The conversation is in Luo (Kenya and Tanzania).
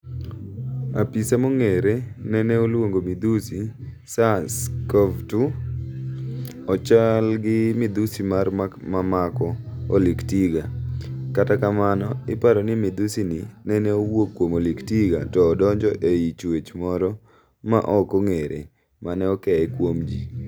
Apisaa mong'ere nene oluongo midhusi, Sars-CoV-2, ochalgi midhusi mar mamako oliktiga, kata kamano iparoni midhusi ni nene owuok kuom oliktiga to odonjo ei chuech moro ma ok ong'ere mane okeye kuom ji.